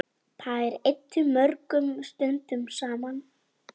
Þær eyddu mörgum stundum saman.